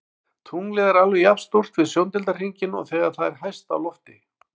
Tunglið er alveg jafn stórt við sjóndeildarhringinn og þegar það er hæst á lofti.